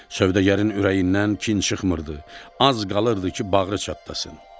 Sövdəgərin ürəyindən kin çıxmırdı, az qalırdı ki, bağrı çatlasın.